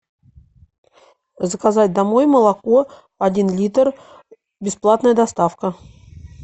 заказать домой молоко один литр бесплатная доставка